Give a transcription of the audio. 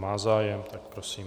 Má zájem, tak prosím.